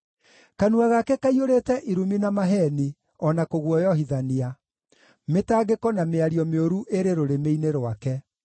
Kanua gake kaiyũrĩte irumi na maheeni, o na kũguoyohithania; mĩtangĩko na mĩario mĩũru ĩrĩ rũrĩmĩ-inĩ rwake.